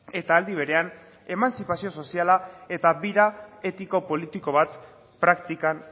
eta aldi berean emantzipazio soziala eta bira etiko politiko bat praktikan